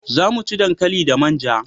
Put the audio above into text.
Za mu ci dankali da manja